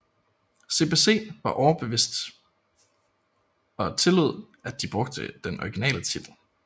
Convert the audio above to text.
CBC var overbevist og tillod at de brugte den originale titel